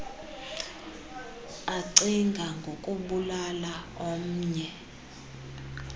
acinga ngokubulala ornnye